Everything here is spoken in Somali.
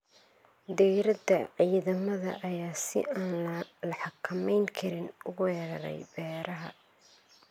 Diirada ciidamada ayaa si aan la xakameyn karin u weeraray beeraha.